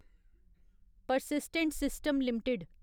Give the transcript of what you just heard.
persistent system limited